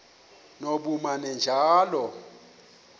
nobumanejala